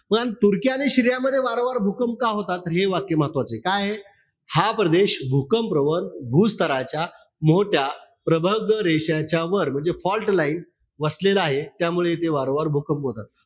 तुर्की आणि सीरियामध्ये वारंवार भूकंप का होतात? तर हे वाक्य महत्वाचंय. काये? हा प्रदेश भूकंप प्रवण भूस्थराच्या मोठ्या प्रगब्ध रेषांच्या वर म्हणजे fault line वसलेला आहे. त्यामुळे इथे वारंवार भूकंप होतात.